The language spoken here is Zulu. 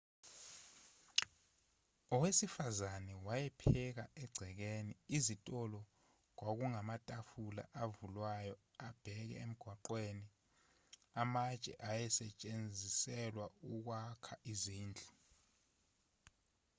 owesifazane wayepheka egcekeni izitolo kwakungamatafula avulwayo abheke emgwaqweni amatshe ayesetshenziselwa ukwakha izindlu